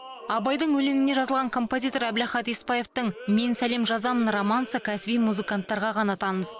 абайдың өлеңіне жазылған композитор әбілахат еспаевтың мен сәлем жазамын романсы кәсіби музыканттарға ғана таныс